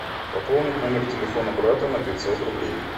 пополнить номер телефона брата на пятьсот рублей